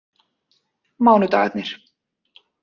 mánudagarnir